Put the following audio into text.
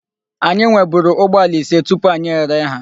Anyị nweburu ụgbọala ise tupu anyị ere ha.